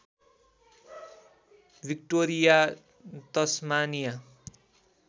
Victoria Tasmania